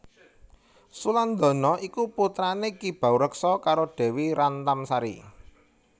Sulandana iku putrane Ki Baureksa karo Dewi Rantamsari